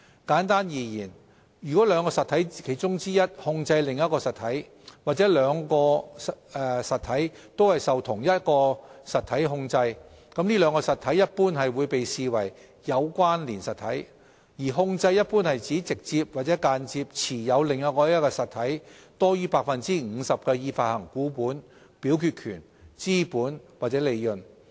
簡單而言，如果兩個實體中之其一控制另一實體，或兩者均受同一實體控制，該兩個實體一般會被視為"有關連實體"；而"控制"一般指直接或間接持有另一實體多於 50% 的已發行股本、表決權、資本或利潤。